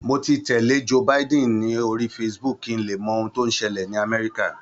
Mo ti tẹ̀lé Joe Biden ní orí Facebook kí n lè mọ ohun tí ó ń ṣẹlẹ̀ ni Amerika